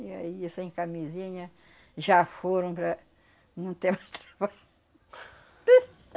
E aí é sem camisinha já foram para não ter mais trabalho.